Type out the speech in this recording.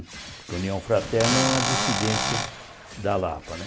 União Fraterna é uma dissidência da Lapa né.